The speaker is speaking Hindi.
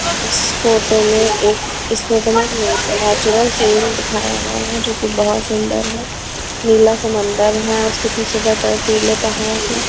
इस फोटो में एक इस फोटो में नेचुरल स दिखाया गया है जो कि बहुत सुंदर है नीला समंदर है उसके पीछे पर पहाड है.